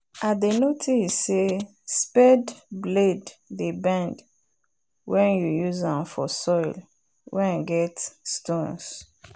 i dey notice say spade blade dey bend wen you use am for soil wen get stones